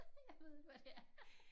Jeg ved ikke hvad det er